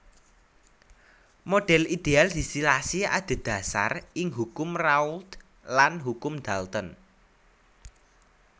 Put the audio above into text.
Modhel ideal distilasi adhedhasar ing Hukum Raoult lan Hukum Dalton